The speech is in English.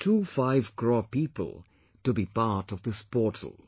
25 crore people to be part of this portal